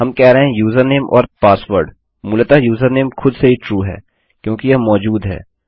हम कह रहे हैं यूजरनेम और पासवर्ड मूलतः यूजरनेम खुद से ही ट्रू है क्योंकि यह मौजूद है